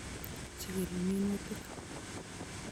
"Jigil minutik.